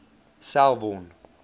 selborne